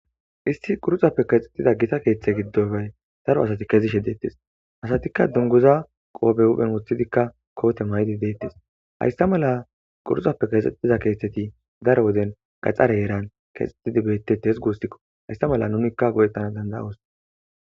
Issiti quruxa keethetida keeththappe kezida gita keeththa giddoni detesi asatikka duniguzara qoppe hupheni woththidikka kote mayidikka deteesi hayisa mala quruxape keeththetida keththeti daro heerani gaxareni keeththetidi beteteesi gusikko hesa mala nunikka goetanasi danidaosi